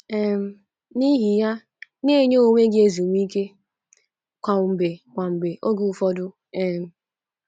um N’ihi ya, na - enye onwe gị ezumike kwa mgbe kwa mgbe oge ụfọdụ um.